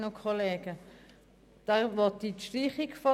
Dann hat zuerst Grossrätin Machado das Wort.